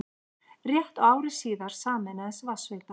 Réttu ári síðar sameinaðist Vatnsveita